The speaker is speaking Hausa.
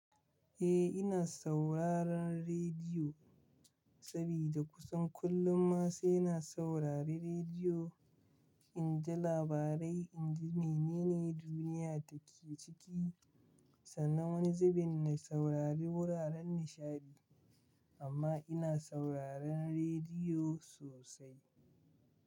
Eh ina sauraron rediyo sabida kusan kullum ma sai na saurari rediyo. In ji labarai, in ji menene duniya take ciki, sannan wani zubin na saurari wuraren nishaɗi. Amma ina sauraron rediyo sosai.